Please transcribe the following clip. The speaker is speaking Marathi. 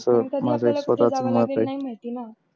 अस माझ एक स्वताच मत आहे